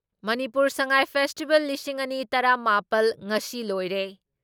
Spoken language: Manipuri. ꯃꯅꯤꯄꯨꯔ ꯁꯉꯥꯏ ꯐꯦꯁꯇꯤꯚꯦꯜ ꯂꯤꯁꯤꯡ ꯑꯅꯤ ꯇꯔꯥ ꯃꯥꯄꯜ ꯉꯁꯤ ꯂꯣꯏꯔꯦ ꯫